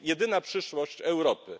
To jest jedyna przyszłość Europy.